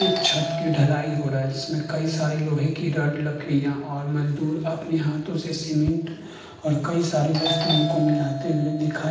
एक छत की ढलाई हो रहा है। जिसमे कई सारे लोहे की रॉड लकडिया और मजदूर अपने हाथो से सीमेंट और कई सारे वस्तुओ को मिलाते हुए दिखाई --